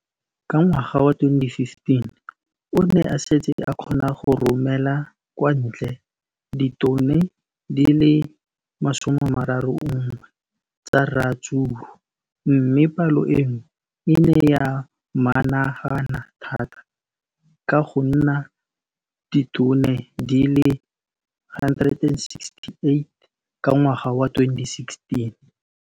Ka ngwaga wa 2015, o ne a setse a kgona go romela kwa ntle ditone di le 31 tsa ratsuru mme palo eno e ne ya menagana thata go ka nna ditone di le 168 ka ngwaga wa 2016.